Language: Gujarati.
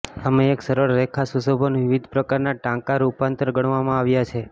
અમે એક સરળ રેખા સુશોભન વિવિધ પ્રકારના ટાંકા રૂપાંતર ગણવામાં આવ્યા છે